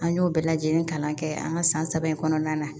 An y'o bɛɛ lajɛlen kalan kɛ an ka san saba in kɔnɔna na